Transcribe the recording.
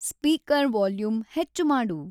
speaker volume ಹೆಚ್ಚ್‌ ಮಾಡು